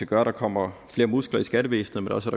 gør at der kommer flere muskler i skattevæsenet men også